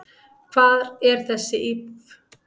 Hvar er þessi íbúð?